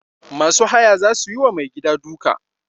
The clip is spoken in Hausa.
Masu haya za su yi wa mai gida duka.